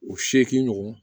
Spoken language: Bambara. O seegin ɲɔgɔn